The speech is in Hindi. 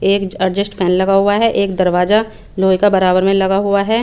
एक एडजस्ट पेन लगा हुआ है एक दरवाज़ा लोहे का बरा बर में लगा हुआ है।